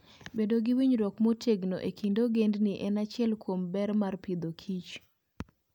Bedo gi winjruok motegno e kind ogendini en achiel kuom ber mar Agriculture and Food.